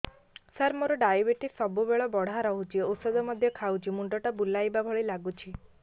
ସାର ମୋର ଡାଏବେଟିସ ସବୁବେଳ ବଢ଼ା ରହୁଛି ଔଷଧ ମଧ୍ୟ ଖାଉଛି ମୁଣ୍ଡ ଟା ବୁଲାଇବା ଭଳି ଲାଗୁଛି